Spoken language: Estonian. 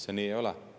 See nii ei ole.